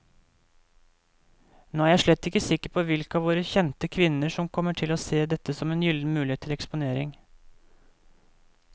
Nå er jeg slett ikke sikker på hvilke av våre kjente kvinner som kommer til å se dette som en gyllen mulighet til eksponering.